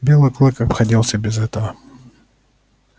белый клык обходился без этого